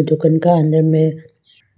दुकान का अंदर में